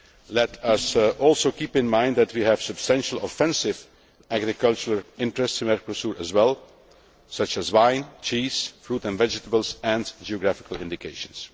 Let us also keep in mind that we have substantial offensive agriculture interests in Mercosur as well, such as wine, cheese, fruit and vegetables and geographical indications.